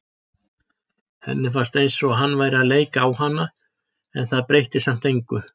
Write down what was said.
Henni fannst eins og hann væri að leika á hana en það breytti samt engu.